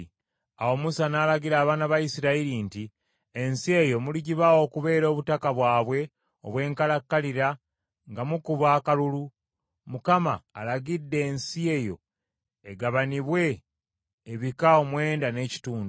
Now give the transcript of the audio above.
Awo Musa n’alagira abaana ba Isirayiri nti, “Ensi eyo muligibawa okubeera obutaka bwabwe obw’enkalakkalira nga mukuba akalulu. Mukama alagidde ensi eyo egabanibwe ebika omwenda n’ekitundu,